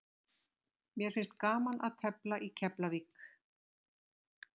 Mér finnst gaman að tefla í Keflavík.